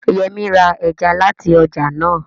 Yẹmí ra ẹja láti ọjà náà